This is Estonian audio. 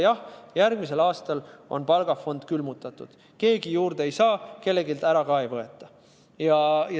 Jah, järgmisel aastal on palgafond külmutatud: keegi juurde ei saa, aga kelleltki ära ka ei võeta.